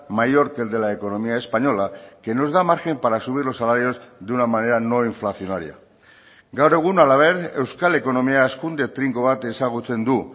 mayor que el de la economía española que nos da margen para subir los salarios de una manera no inflacionaria gaur egun halaber euskal ekonomia hazkunde trinko bat ezagutzen du